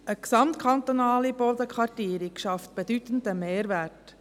Eine gesamtkantonale Bodenkartierung schafft einen bedeutenden Mehrwert.